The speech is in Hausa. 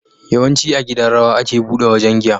Yawanci a gidan rawa ake buɗe wajan giya